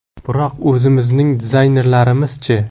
Biroq o‘zimizning dizaynerlarimiz-chi?